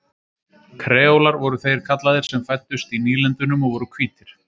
Kreólar voru þeir kallaðir sem fæddust í nýlendunum og voru hvítir.